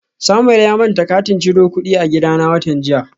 Samuel ya manta katin ciro kudi a gidana watan jiya